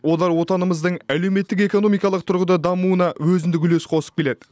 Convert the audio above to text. олар отанымыздың әлеуметтік экономикалық тұрғыда дамуына өзіндік үлес қосып келеді